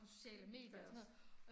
Mh, det gør jeg også